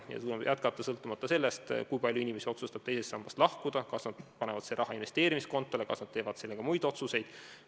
Seda tuleb hoida sõltumata sellest, kui palju inimesi otsustab teisest sambast lahkuda ja kas nad panevad selle raha investeerimiskontole või teevad selle kasutamiseks muid otsuseid.